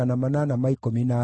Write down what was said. na cia Bebai ciarĩ 628